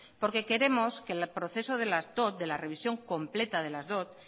porque queremos que el proceso de las dot de la revisión completa de las dot